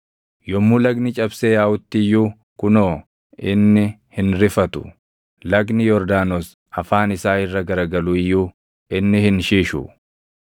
Yommuu lagni cabsee yaaʼutti iyyuu kunoo, inni hin rifatu. Lagni Yordaanos afaan isaa irra garagalu iyyuu inni hin shishu.